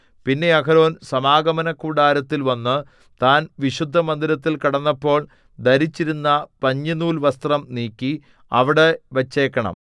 പിന്നെ അഹരോൻ സമാഗമനകൂടാരത്തിൽ വന്നു താൻ വിശുദ്ധമന്ദിരത്തിൽ കടന്നപ്പോൾ ധരിച്ചിരുന്ന പഞ്ഞിനൂൽവസ്ത്രം നീക്കി അവിടെ വച്ചേക്കണം